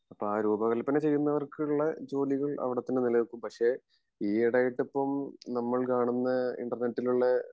അപ്പൊ ആ രൂപകൽപ്പന ചെയ്യുന്നവർക്കുള്ള ജോലികൾ അവിടെ തന്നെ നിലനിൽക്കും പക്ഷെ ഈ ഇടെയായിട്ട് ഇപ്പോം നമ്മൾ കാണുന്ന ഇൻ്റെർനെറ്റിൽ ഉള്ള